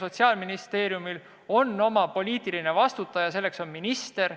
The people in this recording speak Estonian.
Sotsiaalministeeriumil on oma poliitiline vastutaja, kelleks on minister.